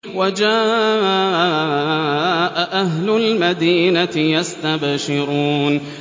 وَجَاءَ أَهْلُ الْمَدِينَةِ يَسْتَبْشِرُونَ